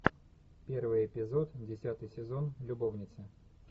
первый эпизод десятый сезон любовницы